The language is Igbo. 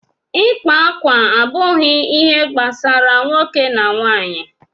ịkpa akwa abụghị ihe gbasara nwoke na nwanyị